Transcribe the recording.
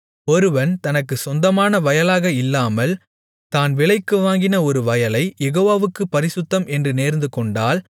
ஒருவன் தனக்குச் சொந்தமான வயலாக இல்லாமல் தான் விலைக்கு வாங்கின ஒரு வயலைக் யெகோவாவுக்குப் பரிசுத்தம் என்று நேர்ந்துகொண்டால்